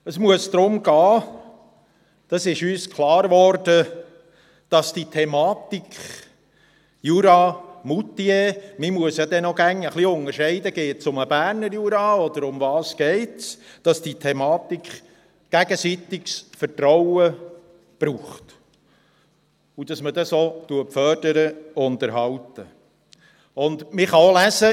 Es muss darum gehen, das ist uns klargeworden, dass die Thematik «Jura und Moutier» – man muss dann ja auch jeweils noch etwas unterscheiden, ob es um den Berner Jura geht – gegenseitiges Vertrauen braucht, und dass man das auch fördert und erhält.